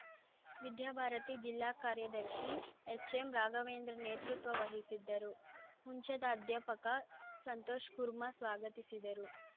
ವಿದ್ಯಾಭಾರತಿ ಜಿಲ್ಲಾ ಕಾರ್ಯದರ್ಶಿ ಎಚ್‌ಎಂ ರಾಘವೇಂದ್ರ ನೇತೃತ್ವ ವಹಿಸಿದ್ದರು ಹುಂಚದ ಅಧ್ಯಾಪಕ ಸಂತೋಷ್‌ ಕುರ್ಮಾ ಸ್ವಾಗತಿಸಿದರು